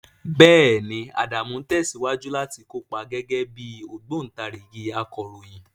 Bẹ́ẹ̀ni, Adamu ń tẹ̀síwájú láti kópa gẹ́gẹ́ bí ogobontarigi akọ̀ròyìn.